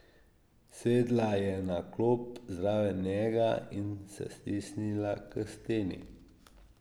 Sedla je na klop zraven njega in se stisnila k steni.